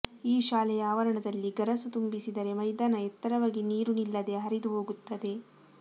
ಈ ಶಾಲೆಯ ಆವರಣದಲ್ಲಿ ಗರಸು ತುಂಬಿಸಿದರೆ ಮೈದಾನ ಎತ್ತರವಾಗಿ ನೀರು ನಿಲ್ಲದೆ ಹರಿದು ಹೋಗುತ್ತದೆ